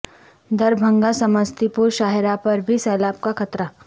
Darbhanga Samastipur شاہراہ پر بھی سیلاب کا خطرہ